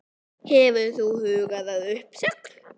Hefur þú hugað að uppsögn?